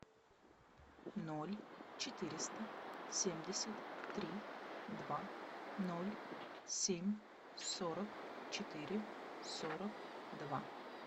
ноль четыреста семьдесят три два ноль семь сорок четыре сорок два